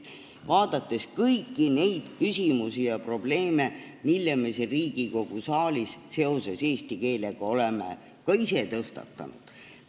Vaadates kõiki neid küsimusi ja probleeme, mida me siin Riigikogu saalis seoses eesti keelega oleme ka ise tõstatanud, näen ma emakeelepäeva suurt väärtust just sotsiaal-kultuurilises kontekstis.